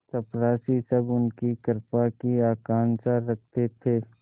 चपरासीसब उनकी कृपा की आकांक्षा रखते थे